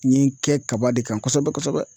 N ye kɛ kaba de kan kosɛbɛ kosɛbɛ